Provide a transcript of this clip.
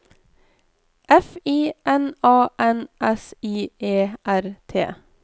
F I N A N S I E R T